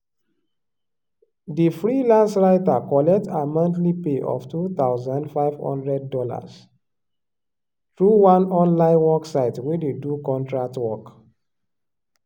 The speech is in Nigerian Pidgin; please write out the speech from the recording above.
di freelance writer collect her monthly pay of two thousand five hundred dollars through one online work site wey dey do contract work.